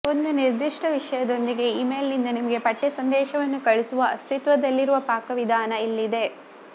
ಒಂದು ನಿರ್ದಿಷ್ಟ ವಿಷಯದೊಂದಿಗೆ ಇಮೇಲ್ನಿಂದ ನಿಮಗೆ ಪಠ್ಯ ಸಂದೇಶವನ್ನು ಕಳುಹಿಸುವ ಅಸ್ತಿತ್ವದಲ್ಲಿರುವ ಪಾಕವಿಧಾನ ಇಲ್ಲಿದೆ